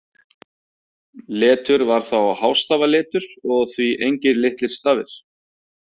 Letur var þá hástafaletur og því engir litlir stafir.